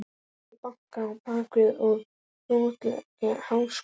Ekkert bank á bakið og broslegar háðsglósur.